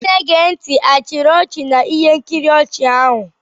Ndị na-ege ntị achiri ọchị na ihe nkiri ochi ahụ?